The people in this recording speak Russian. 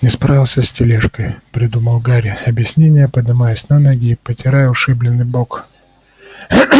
не справился с тележкой придумал гарри объяснение поднимаясь на ноги и потирая ушибленный бок